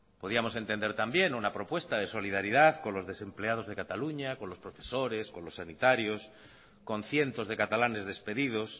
podíamos entender también una propuesta de solidaridad con los desempleados de cataluña con los profesores con los sanitarios con cientos de catalanes despedidos